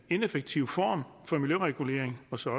ineffektiv form for miljøregulering og som